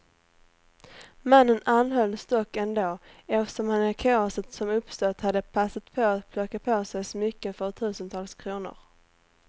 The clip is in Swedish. Mannen anhölls dock ändå, eftersom han i kaoset som uppstått hade passat på att plocka på sig smycken för tusentals kronor.